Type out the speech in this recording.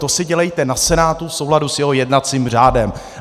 To si dělejte na Senátu v souladu s jeho jednacím řádem.